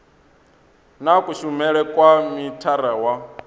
na kushumele kwa mithara wa